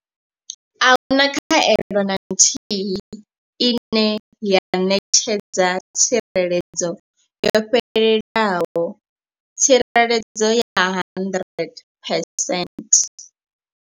Ahuna khaelo na nthihi ine ya ṋetshedza tsireledzo yo fhelelaho tsireledzo ya 100 percent.